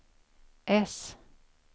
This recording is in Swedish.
S